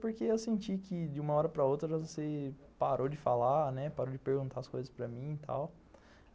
Porque eu senti que de uma hora para outra você parou de falar, parou de perguntar as coisas para mim e tal.